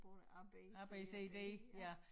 Både A B C D ja